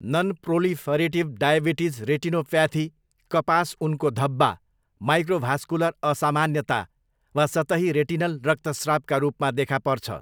Nonproliferative diabetes retinopathy कपास उनको धब्बा, माइक्रोभास्कुलर असामान्यता वा सतही रेटिनल रक्तस्रावका रूपमा देखा पर्छ।